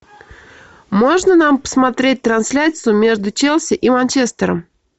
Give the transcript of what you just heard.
можно нам посмотреть трансляцию между челси и манчестером